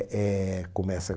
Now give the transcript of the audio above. Éh começa